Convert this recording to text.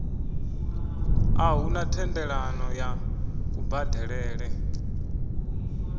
a huna thendelano ya kubadelele